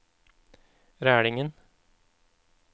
Rælingen